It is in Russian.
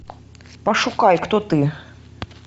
пошукай кто ты